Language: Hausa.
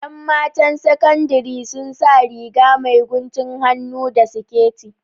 ’Yan matan saƙandiri sun sa Riga mai guntun hannu da siƙet